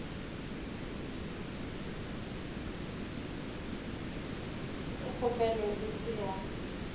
ge kgopelo e se ya